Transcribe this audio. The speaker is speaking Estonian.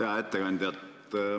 Hea ettekandja!